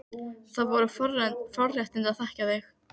Það voru forréttindi að þekkja þig.